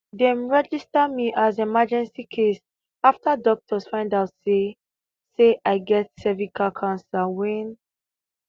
dem register me as emergency case after doctors find out say i say i get cervical cancer wen